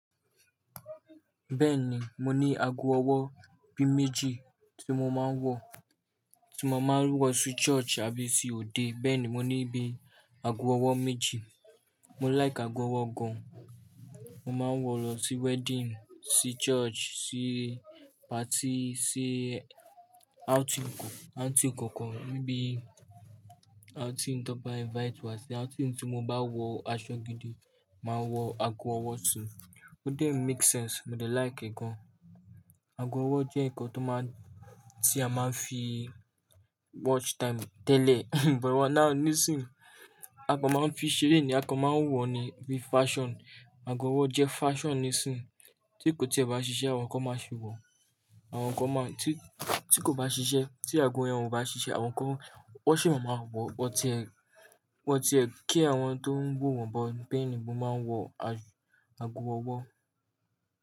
Bẹ́ẹ̀ni, mo ní aago ọwọ́ bí méjì tí mo máa ń wọ̀, tí mo máa ń wọ̀ sí church àbí tí òde. Bẹ́ẹ̀ni, mo ní bí aago ọwọ́ méjì. Mo like ago ọwọ́ gan. Mo máa ń wọ̀ lọ sí wedding, sí church, sí party, sí out tí n kọ, out tí n kankan, ni bí i outing tó n bá invite wá sí, outing tí mo bá wọ aṣọ gidi, màá wọ aago ọwọ́ si. Ó dé ń make sense, mo dé like e gan. Ago ọwọ́ jẹ́ nǹkan tó máa ń tí a máa ń fi watch time tẹ́lẹ̀, but now nísìínyi, akan máa ń fi ṣeré ni, akan máa ń wọ̀ ni bí fashion. Ago ọwọ́ jẹ́ fashion nísìínyi tí kò tí e bá ṣiṣẹ́ àwọn kan máa si wọ̀, àwọn kan máa, tí kò bá ṣiṣẹ́, tí aago yẹn ò bá ṣiṣẹ́ àwọn kan, wọ́n sì máa ma wọ̀, wọ́n ti ẹ́, wọ́n ti ẹ́ kí àwọn tó ń wọ̀ wọ́n but beeni mo máa ń wọ aago ọwọ́.